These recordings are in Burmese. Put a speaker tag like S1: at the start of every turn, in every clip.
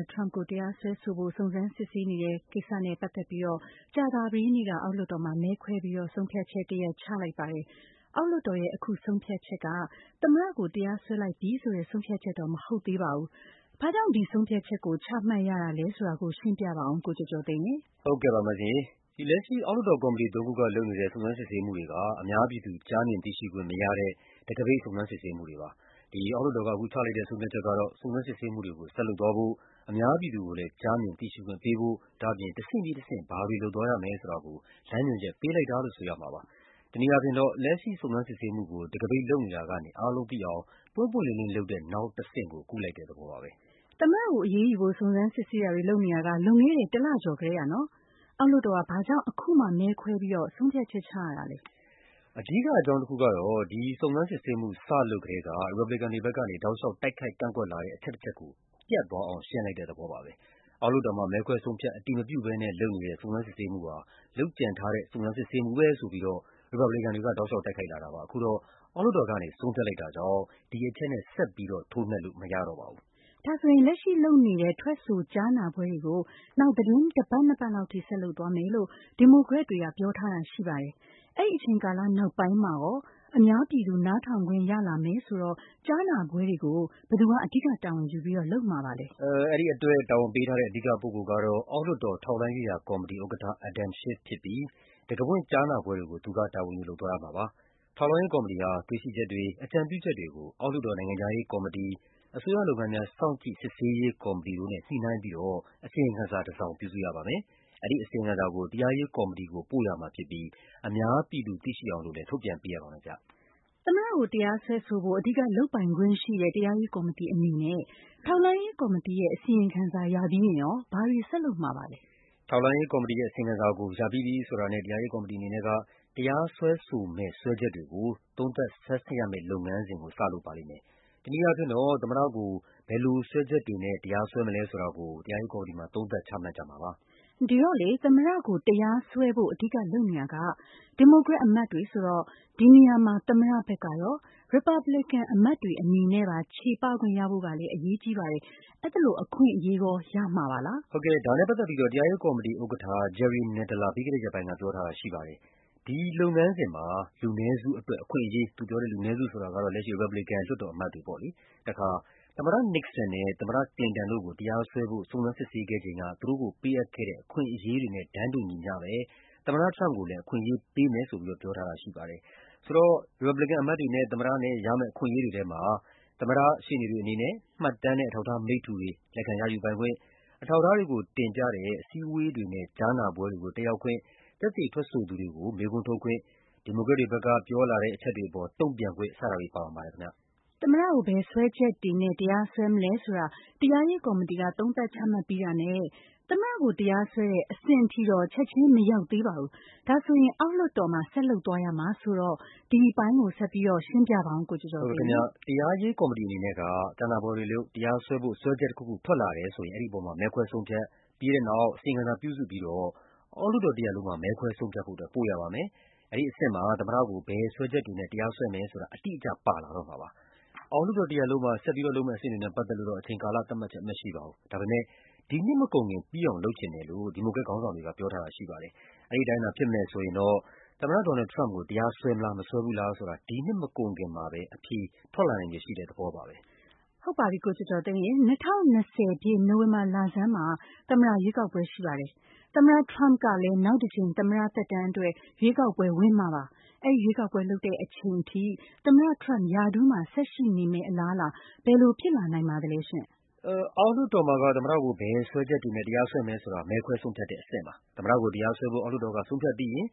S1: ဒ် ထရမ့်ပ်ကို တရားစွဲဆိုဖို့ စုံစမ်းစစ်ဆေးနေတဲ့ကိစ္စနဲ့ပတ်သက်ပြီး ကြာသပတေးနေ့က အောက်လွှတ်တော်မှာ မဲခွဲပြီးတော့ ဆုံးဖြတ်ချက်တရပ် ချလိုက်ပါတယ်။ အောက်လွှတ်တော်ရဲ့ အခုဆုံးဖြတ်ချက်က သမ္မတကို တရားစွဲလိုက်ပြီဆိုတဲ့ ဆုံးဖြတ်ချက်တော့ မဟုတ်သေးပါဘူး။ ဘာ့ကြောင့် ဒီဆုံးဖြတ်ချက်ကို ချမှတ်ရတာလဲဆိုတာ ရှင်းပြပါဦး ကိုကျော်ကျော်သိန်းရေ
S2: ။ ကိုကျော်ကျော်သိန်း။ ။ ဟုတ်ကဲ့ပါ၊ လက်ရှိ အောက်လွှတ်တော်ကော်မတီသုံးခုက လုပ်နေတဲ့ စုံစမ်းစစ်ဆေးမှုတွေက အများပြည်သူ ကြားမြင်သိရှိခွင့် မရတဲ့ တံခါးပိတ် စုံစမ်းစစ်ဆေးမှုတွေဖြစ်ပါတယ်။ အခုဆုံးဖြတ်ချက်ကတော့ စုံစမ်းစစ်ဆေးမှုတွေကို ဆက်လုပ်သွားဖို့၊ အများ ပြည်သူကိုလည်း ကြားမြင်သိရှိခွင့်ပေးဖို့၊ ဒါ့အပြင် တဆင့်ပြီးတဆင့် ဘာတွေလုပ်သွားရမယ်ဆိုတာကို လမ်းညွှန်ချက် ပေးလိုက် တာလို့ ဆိုရမှာပါ။ တနည်းအားဖြင့်တော့ လက်ရှိစုံစမ်းစစ်ဆေးမှုကို တံခါးပိတ်လုပ်နေတာကနေ အားလုံးသိအောင် ပွင့်ပွင့် လင်းလင်းလုပ်တဲ့ နောက်အဆင့်ကို ကူးလိုက်တာပါပဲ။ မေး။ ။ သမ္မတကိုအရေးယူဖို့
S1: စုံစမ်းစစ်ဆေးတာတွေ လုပ်နေတာ လွန်ခဲ့တဲ့ တလကျော်ကတည်းကပါ။ အောက်လွှတ်တော်က ဘာ့ကြောင့် အခုမှ မဲခွဲပြီး ဆုံးဖြတ်ချက်ချရတာလဲ
S2: ။ ဖြေ။ ။ အဓိကအကြောင်းတခုကတော့ ဒီစုံစမ်းစစ်ဆေးမှု စလုပ်ကတည်းက ရီပတ်ဘလီကန်တွေဘက်ကနေ တောက်လျှောက် တိုက်ခိုက် ကန့်ကွက်လာတဲ့ အချက်တချက်ကို ပြတ်အောင် ရှင်းလိုက်တဲ့သဘောပါပဲ။ အောက်လွှတ်တော်မှာ မဲခွဲဆုံးဖြတ် အတည်မပြုဘဲနဲ့ လုပ်နေတဲ့ စုံစမ်းစစ်ဆေးမှုဟာ လုပ်ကြံထားတဲ့ စုံစမ်းစစ်ဆေးမှုပဲဖြစ်တယ်ဆိုပြီးတော့ ရီပတ်ဘလီကန်တွေက တိုက်ခိုက်လာတာပါ။ အခုတော့ အောက်လွှတ်တော်ကနေ ဆုံးဖြတ်လိုက်တာကြောင့် ဒီအချက်နဲ့ ဆက်ပြီးထိုးနှက်လို့မရတော့ပါ ဘူး
S1: ။ မေး။ ။ လက်ရှိလုပ်နေတဲ့ ထွက်ဆိုကြားနာပွဲတွေကို နောက် သီတင်းတပတ် နှစ်ပတ်လောက်အထိ ဆက်လုပ်သွားမယ်လို့ ဒီမိုကရက်တွေက ပြောထားတာရှိပါတယ်။ အဲဒီအချိန်ကာလနောက်ပိုင်းမှာ အများပြည်သူ နားထောင်ခွင့်ရလာမယ်ဆိုတော့ ကြားနာပွဲတွေကို ဘယ်သူက အဓိကတာဝန်ယူပြီးလုပ်မှာပါလဲ။
S2: ဖြေ။ ။ အဲဒီအတွက် တာဝန်ပေးထားတဲ့ အဓိကပုဂ္ဂိုလ်ကတော့ အောက်လွှတ်တော် ထောက်လှမ်းရေးရာကော်မတီဥက္ကဋ္ဌ Adam Schiff ဖြစ်ပြီး တံခါးဖွင့်ကြားနာပွဲတွေကို သူက တာဝန်ယူလုပ်သွားရမှာပါ။ ထောက်လှမ်းရေးကော်မတီဟာ တွေ့ရှိချက်တွေ၊ အကြံပြုချက်တွေကို အောက်လွှတ်တော် နိုင်ငံခြားရေးကော်မတီ၊ အစိုးရလုပ်ငန်းများ စောင့်ကြည့် စစ်ဆေးရေးကော်မတီတို့နဲ့ ညှိနှိုင်းပြီးတော့ အစီရင်ခံစာတစောင် ပြုစုရပါမယ်။ အဲဒီအစီရင်ခံစာကို တရားရေးကော်မတီကို ပို့ရမှာဖြစ်ပြီး အများပြည်သူ သိရှိ အောင်လည်း ထုတ်ပြန်ပေးရပါမယ်။ မေး။
S1: ။ သမ္မတကို တရားစွဲဆိုဖို့ အဓိကလုပ်ပိုင်ခွင့်ရှိတဲ့ တရားရေးကော်မတီအနေနဲ့ ထောက်လှမ်းရေးကော်မတီရဲ့ အစီရင်ခံစာ ရပြီးရင် ဘာတွေဆက်လုပ်မှာပါလဲ
S2: ။ ဖြေ။ ။ ထောက်လှမ်းရေးကော်မတီရဲ့ အစီရင်ခံစာကို ရပြီးပြီဆိုတာနဲ့ တရားစွဲဆိုမယ့် စွဲချက်တွေကို သုံးသပ်ဆန်းစစ်ရမယ့် လုပ်ငန်းစဉ်ကို တရားရေးကော်မတီက စလုပ်မှာပါ။ တနည်းအားဖြင့် သမ္မတကို ဘယ်လိုစွဲချက်တွေနဲ့ တရားစွဲမလဲဆိုတာကို သုံးသပ် ချမှတ်ကြမှာ
S1: ဖြစ်ပါတယ်။ မေး။ ။ သမ္မတကိုတရားစွဲဖို့ အဓိကလုပ်နေတာက ဒီမိုကရက်အမတ်တွေဆိုတော့ ဒီနေရာမှာ သမ္မတဘက်ကရော၊ ရီပတ်ဘလီကန်အမတ်တွေအနေနဲ့ပါ ချေပခွင့်ရဖို့ကလည်း အရေးကြီးပါတယ်။ အဲဒီလိုအခွင့်အရေး ရကြမှာပါလား
S2: ။ ဖြေ။ ။ အဲဒီလုပ်ငန်းစဉ်မှာ “လူနည်းစုအတွက် အခွင့်အရေး၊ သမ္မတ Nixon နဲ့ သမ္မတ Clinton တို့ကို တရားစွဲဖို့ စုံစမ်းစစ်ဆေး ခဲ့ချိန်က ပေးအပ်ခဲ့တဲ့ အခွင့်အရေးတွေနဲ့တန်းတူ သမ္မတအတွက် အခွင့်အရေးတွေကိုပေးမယ်” လို့ တရားရေးကော်မတီဥက္ကဋ္ဌ Jerry Nadler က ပြောထားပါတယ်။ လူနည်းစုဆိုတာကတော့ ရီပတ်ဘလီကန်အမတ်တွေကို ရည်ညွှန်းတာပါ။ ရမယ့် အခွင့် အရေးတွေထဲမှာ သမ္မတရဲ့ ရှေ့နေတွေအနေနဲ့ မှတ်တမ်းနဲ့ အထောက်အထားမိတ္တူတွေ လက်ခံရယူပိုင်ခွင့်၊ အထောက်အထား တွေကိုတင်ပြတဲ့ အစည်းအဝေးတွေနဲ့ ကြားနာပွဲတွေကို တက်ရောက်ခွင့်၊ သက်သေထွက်ဆိုသူတွေကို မေးခွန်းထုတ်ခွင့်၊ ဒီမို ကရက်တွေဘက်က ပြောဆိုချက်တွေအပေါ် တုံ့ပြန်ခွင့် စတာတွေ ပါဝင်ပါတယ်။ မေး။
S1: ။ သမ္မတကို ဘယ်စွဲချက်တွေနဲ့ တရားစွဲမလဲဆိုတာ တရားရေးကော်မတီက သုံးသပ်ချမှတ်ပြီးတာနဲ့ သမ္မတကို တရားစွဲတဲ့ အဆင့်ထိတော့ ချက်ခြင်းမရောက်သေးပါဘူး။ ဒါက အောက်လွှတ်တော်မှာ ဆက်လုပ်သွားရမှာဆိုတော့ ဒီအပိုင်း ဆက်ရှင်းပြပါဦး။ ဖြေ။
S2: ။ တရားရေးကော်မတီအနေနဲ့ ကြားနာပွဲတွေလုပ်၊ တရားစွဲဖို့ စွဲချက်တခုခု ထွက်လာတယ်ဆိုရင် အဲဒီအပေါ် မဲခွဲဆုံးဖြတ်၊ ပြီးတဲ့နောက် အစီရင်ခံစာပြုစုပြီး အောက်လွှတ်တော်တရပ်လုံးမှာ မဲခွဲဆုံးဖြတ်ဖို့ ပို့ရပါမယ်။ အဲဒီအဆင့်မှာ သမ္မတကို ဘယ်စွဲချက် တွေနဲ့ တရားစွဲမယ်ဆိုတာ အတိအကျပါလာတော့မှာပါ။ အောက်လွှတ်တော်တရပ်လုံးမှာ ဆက်လုပ်မယ့်အဆင့်တွေနဲ့ ပတ်သက် လို့တော့ အချိန်ကာလသတ်မှတ်ချက် မရှိပါဘူး။ ဒါပေမယ့် ဒီနှစ်မကုန်ခင် ပြီးအောင်လုပ်ချင်တယ်လို့ ဒီမိုကရက်ခေါင်းဆောင် တွေက ပြောထားပါတယ်။ အဲဒီအတိုင်းဖြစ်မယ်ဆိုရင်တော့ သမ္မတ ဒေါ်နယ်လ်ဒ် ထရမ့်ပ်ကို တရားစွဲမလား မစွဲဘူးလားဆိုတာ ဒီနှစ်မကုန်ခင်မှာ အဖြေထွက်လာနိုင်ခြေရှိတဲ့သဘောပါပဲ။ မေး
S1: ။ ။ ၂၀၂၀ ပြည့်၊ နိုဝင်ဘာလဆန်းမှာ သမ္မတရွေးကောက်ပွဲရှိပါတယ်။ သမ္မတထရမ့်ပ်ကလည်း နောက်တကြိမ် သမ္မတ သက်တမ်းအတွက် ရွေးကောက်ပွဲဝင်မှာပါ။ အဲဒီရွေးကောက်ပွဲလုပ်တဲ့အချိန်ထိ သမ္မတထရမ့်ပ် ရာထူးမှာဆက်ရှိနေမယ့် အလားအလာ ဘယ်လိုဖြစ်လာနိုင်ပါသလဲ။ ဖြေ။
S2: ။ အောက်လွှတ်တော်မှာက သမ္မတကို ဘယ်စွဲချက်တွေနဲ့ တရားစွဲမယ်ဆိုတာ မဲခွဲဆုံးဖြတ်တဲ့အဆင့်ပါ။ သမ္မတကို တရား စွဲဖို့ အောက်လွှတ်တော်က ဆုံးဖြတ်ပြီးရင်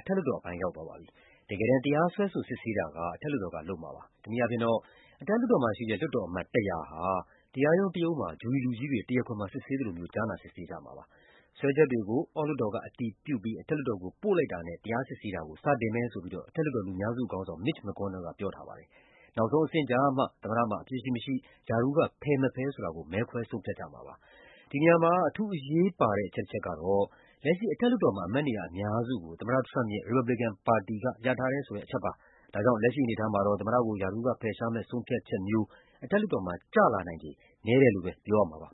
S2: အထက်လွှတ်တော်အပိုင်း ရောက်သွားပါပြီ။ တကယ်တမ်း တရားစွဲဆို စစ်ဆေးတာက အထက်လွှတ်တော်က လုပ်မှာပါ။ တနည်းအားဖြင့်တော့ အထက်လွှတ်တော်က လွှတ်တော်အမတ် ၁၀၀ ဟာ တရားရုံးတရုံးမှာ ဂျူရီလူကြီးတွေ တရားခွင်မှာ စစ်ဆေးသလို ကြားနာ စစ်ဆေးကြမှာပါ။ စွဲချက်တွေကို အောက်လွှတ်တော်က အတည်ပြုပြီး အထက်လွှတ်တော်ကို ပို့လိုက်တာနဲ့ တရားစစ်ဆေးတာကို စတင်မယ်လို့ အထက်လွှတ်တော် လူများစုခေါင်းဆောင် Mitch McConnell က ပြောထားပါတယ်။ နောက်ဆုံးအဆင့်ကျမှ သမ္မတမှာ အပြစ်ရှိမရှိ၊ ရာထူးကဖယ်မဖယ်ဆိုတာကို မဲခွဲဆုံးဖြတ်ကြ မှာပါ။ ဒီနေရာမှာ အထူးအရေးပါတဲ့ အချက်တချက်ကတော့ လက်ရှိအထက်လွှတ်တော်မှာ အမတ်နေရာအများစုကို သမ္မတ ထရမ့်ပ်ရဲ့ ရီပတ်ဘလီကန်ပါတီက ရထားတယ်ဆိုတဲ့ အချက်ပါပဲ။ ဒါကြောင့် လက်ရှိအနေအထားမှာတော့ သမ္မတကို ရာထူးက ဖယ်ရှားမယ့်ဆုံးဖြတ်ချက်မျိုး အထက်လွှတ်တော်မှာ ကျလာနိုင်ခြေ နည်းတယ်လို့ပဲပြောရမှာပါ